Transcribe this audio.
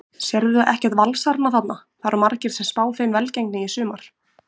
Sérðu ekkert Valsarana þarna, það eru margir sem spá þeim velgengni í sumar?